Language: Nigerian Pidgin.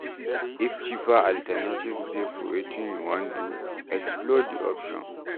If cheaper alternatives dey for wetin you wan do, explore di options